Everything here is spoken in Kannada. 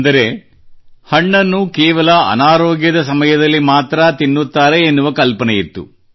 ಅಂದರೆಹಣ್ಣನ್ನು ಕೇವಲ ಅನಾರೋಗ್ಯದ ಸಮಯದಲ್ಲಿ ಮಾತ್ರಾ ತಿನ್ನುತ್ತಾರೆ ಎನ್ನುವ ಕಲ್ಪನೆಯಿತ್ತು